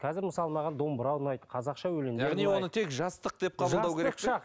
қазір мысалы маған домбыра ұнайды қазақша өлеңдер ұнайды яғни оны тек жастық деп қабылдау